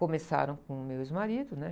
Começaram com o meu ex-marido, né?